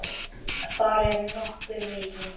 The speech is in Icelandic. Þar er nokkur veiði.